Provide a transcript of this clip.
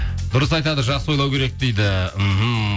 дұрыс айтады жақсы ойлау керек дейді мхм